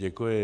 Děkuji.